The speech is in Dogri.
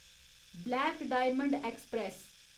black diamond express